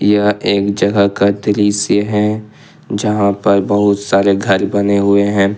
यह एक जगह का दृश्य है जहां पर बहुत सारे घर बने हुए हैं।